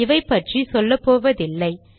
இவைபற்றி சொல்லப்போவதில்லை